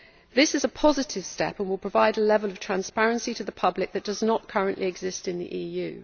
This is a positive step and will provide a level of transparency to the public that does not currently exist in the EU.